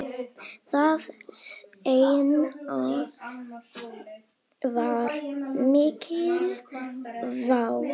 Það seinna var mikil vá.